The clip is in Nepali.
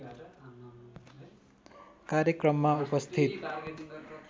कार्यक्रममा उपस्थित